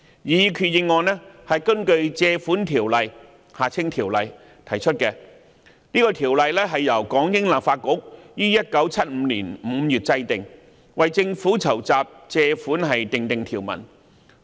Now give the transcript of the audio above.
擬議決議案根據《條例》提出，這項《條例》由港英立法局於1975年5月制定，為政府籌集借款訂定條文。